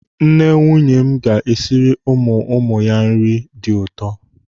Nne nwunye m ga-esiri ụmụ ụmụ ya nri dị ụtọ.